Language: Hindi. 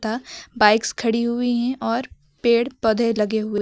बाइक्स खड़ी हुई है और पेड़ पौधे लगे हुए--